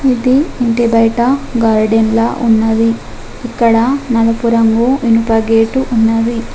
ఇది ఇంటి బయట గారిడెన్ లా ఉన్నది ఇక్కడ నలుపు రంగు ఇనుప గేటు ఉన్నవి.